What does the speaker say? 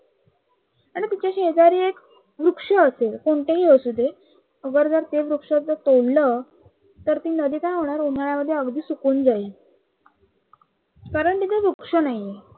तर तिच्या शेजारी एक वृक्ष असेल कोणतही असू दे, अगर जर ते वृक्ष जे तोडलं तर ती नदी काय होणार उन्हाळ्यामध्ये अगदी सुकून जाईल. कारण तिथे वृक्ष नाही आहे